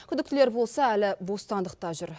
күдіктілер болса әлі бостандықта жүр